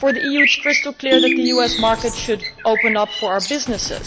For the EU, it is crystal clear that the US market should open up for our businesses,